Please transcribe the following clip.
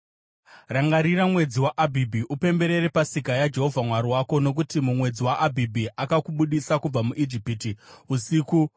Rangarira mwedzi waAbhibhi upemberere Pasika yaJehovha Mwari wako, nokuti mumwedzi waAbhibhi akakubudisa kubva muIjipiti usiku.